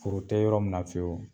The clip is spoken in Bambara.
Foro te yɔrɔ min na fewu